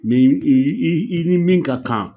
Mɛ i i i ni min ka kan